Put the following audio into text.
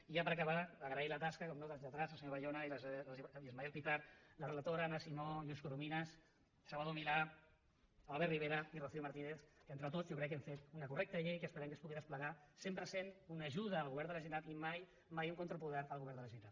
i ja per acabar agrair la tasca naturalment dels lletrats el senyor bayona i l’ismael pitarch la relatora anna simó lluís corominas salvador milà albert rivera i rocío martínez que entre tots jo crec que hem fet una correcta llei que esperem que es pugui desplegar sempre sent una ajuda al govern de la generalitat i mai un contrapoder al govern de la generalitat